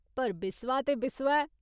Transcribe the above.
पर बिस्वा ते बिस्वा ऐ।